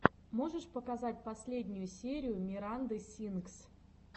можешь показать последнюю серию миранды сингс